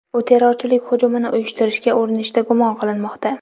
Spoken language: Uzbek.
U terrorchilik hujumini uyushtirishga urinishda gumon qilinmoqda.